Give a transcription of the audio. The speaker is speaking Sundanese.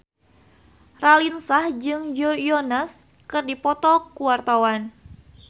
Raline Shah jeung Joe Jonas keur dipoto ku wartawan